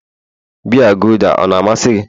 biya gulder ọ na-amasị gị?